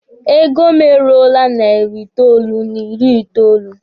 Ego mụ e ruole narị itoolu n'ịrị itoolu.